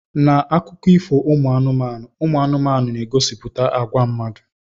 Na akụkọ ifo anụmanụ, anụmanụ na-egosipụta àgwà mmadụ.